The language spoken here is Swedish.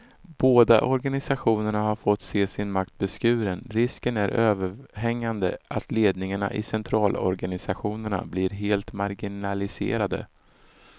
Båda organisationerna har fått se sin makt beskuren, risken är överhängande att ledningarna i centralorganisationerna blir helt marginaliserade.